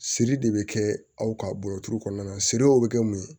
Siri de bɛ kɛ aw ka bɔrɔ duuru kɔnɔna na siri o bɛ kɛ mun ye